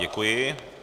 Děkuji.